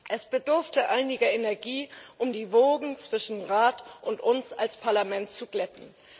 Es bedurfte einiger Energie, um die Wogen zwischen Rat und uns als Parlament zu glätten.